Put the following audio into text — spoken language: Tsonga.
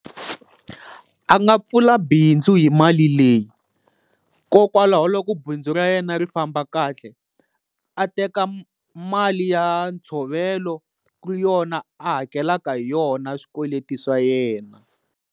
A nga pfula bindzu hi mali leyi kokwalaho loku bindzu ra yena ri famba kahle a teka mali ya ntshovelo ku ri yona a hakelaka hi yona swikweleti swa yena.